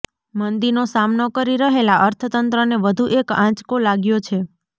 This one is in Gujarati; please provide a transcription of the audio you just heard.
મંદીનો સામનો કરી રહેલા અર્થતંત્રને વધુ એક આંચકો લાગ્યો છે